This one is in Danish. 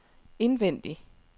indvendig